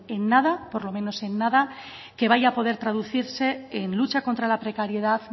en nada por lo menos en nada que vaya a poder traducirse en lucha contra la precariedad